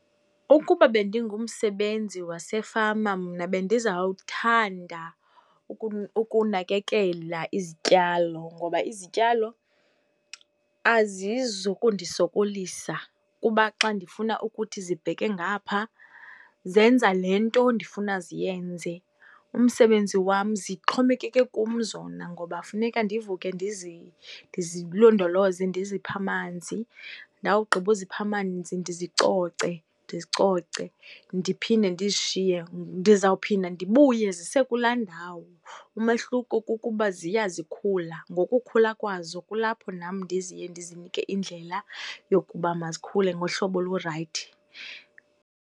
Ukuba bendingumsebenzi wasefama mna bendizawuthanda ukunakekela izityalo, ngoba izityalo azizukundisokolisa kuba xa ndifuna ukuthi zibheke ngapha, zenza le nto ndifuna ziyenze. Umsebenzi wam, zixhomekeke kum zona ngoba funeka ndivuke ndizilondoloze ndiziphe amanzi, ndawugqiba uzipha amanzi ndizicoce, ndizicoce ndiphinde ndizishiye. Ndizawuphinda ndibuye zisekulaa ndawo, umehluko kukuba ziya zikhula, ngokukhula kwazo kulapho nam ndizinike indlela yokuba mazikhule ngohlobo olurayithi.